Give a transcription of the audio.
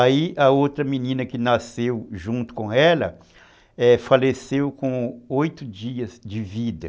Aí a outra menina que nasceu junto com ela, é, faleceu com oito dias de vida.